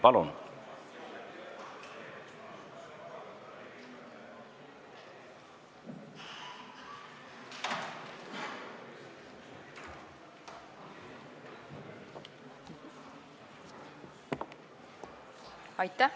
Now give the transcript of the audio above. Palun!